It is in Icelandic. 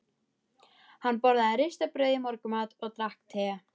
Hann borðaði ristað brauð í morgunmat og drakk te.